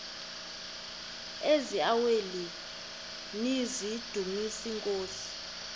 eziaweni nizidumis iinkosi